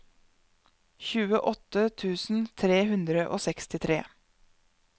tjueåtte tusen tre hundre og sekstitre